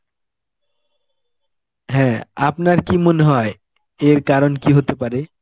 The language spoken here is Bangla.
হ্যাঁ, আপনার কি মনে হয়, এর কারণ কি হতে পারে?